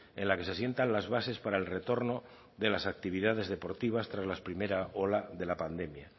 en la que se sientan las bases para el retorno de las actividades deportivas tras la primera ola de la pandemia